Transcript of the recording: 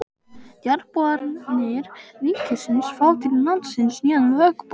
Jarðboranir ríkisins fá til landsins nýjan höggbor